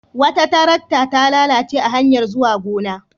Wata tarakta ta lalace a hanyar zuwa wata gona.